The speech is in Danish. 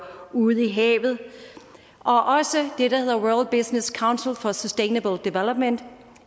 ude i havet og også det der hedder world business council for sustainable development